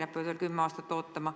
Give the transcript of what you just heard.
Nad peavad veel kümme aastat ootama.